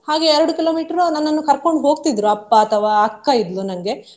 ಹಾಗೆ ಎರಡು kilometer ನನ್ನನ್ನ ಕರ್ಕೊಂಡು ಹೋಗ್ತಿದ್ರು ಅಪ್ಪ ಅಥವಾ ಅಕ್ಕ ಇದ್ಲು ನನ್ಗೆ.